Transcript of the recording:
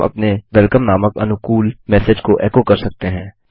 हम अपने वेलकम नामक अनुकूल मेसेज को एको कर सकते हैं